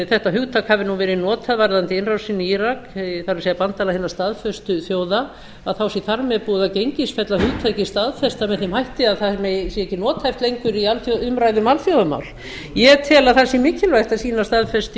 þetta hugtak hafi verið notað varðandi innrásina í írak það er bandalag hinna staðföstu þjóða þá sé þar með búið að gengisfella hugtakið staðfesta með þeim hætti að það sé ekki nothæft lengur í umræðu um alþjóðamál ég tel að það sé mikilvægt að sýna staðfestu